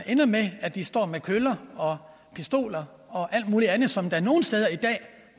ender med at de står med køller og pistoler og alt muligt andet som man nogle steder i dag